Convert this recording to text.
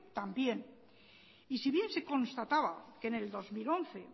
también y si bien se constataba que en el dos mil once